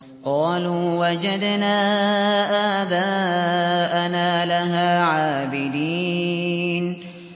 قَالُوا وَجَدْنَا آبَاءَنَا لَهَا عَابِدِينَ